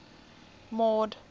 mord